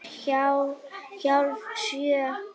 Klukkan er hálf sjö.